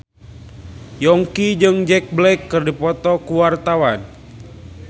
Yongki jeung Jack Black keur dipoto ku wartawan